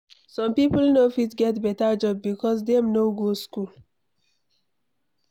Some people no fit get beta job becos Dem no go school